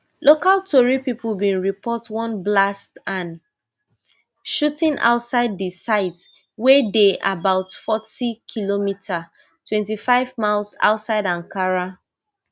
local tori pipo bin report one blast and shooting outside di site wey dey about fortykm twenty-five miles outside ankara